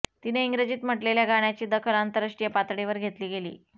तिने इंग्रजीत म्हटलेल्या गाण्याची दखल आंतरराष्ट्रीय पातळीवर घेतली गेली